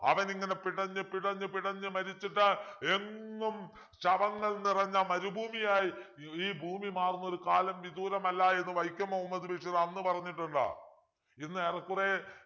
അവനിങ്ങനെ പിടഞ്ഞ് പിടഞ്ഞ് പിടഞ്ഞ് മരിച്ചിട്ട് എങ്ങും ശവങ്ങൾ നിറഞ്ഞ മരുഭൂമിയായി ഈ ഭൂമി മാറുന്നൊരു കാലം വിദൂരമല്ല എന്ന് വൈക്കം മുഹമ്മദ് ബഷീർ അന്ന് പറഞ്ഞിട്ടുണ്ട് ഇന്ന് ഏറെക്കുറെ